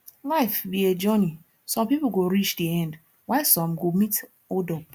life be a journey some people go reach the end while some go meet hold up